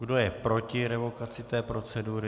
Kdo je proti revokaci té procedury?